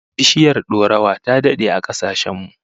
Biishiyar dorawa ta dade a kasashen mu